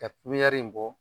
Ka kuwɛri in bɔ.